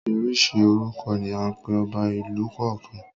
Oríṣiríṣi orúkọ ni à ń pe ọba ìlú kọ̀ọ̀kan.